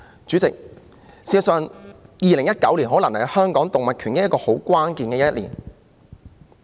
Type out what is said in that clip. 主席，事實上 ，2019 年在香港動物權益上可能是很關鍵的一年。